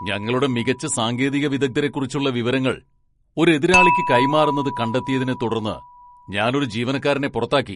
ഞങ്ങളുടെ മികച്ച സാങ്കേതിക വിദഗ്ധരെക്കുറിച്ചുള്ള വിവരങ്ങൾ ഒരു എതിരാളിക്ക് കൈമാറുന്നത് കണ്ടത്തിയതിനെത്തുടർന്ന് ഞാൻ ഒരു ജീവനക്കാരനെ പുറത്താക്കി.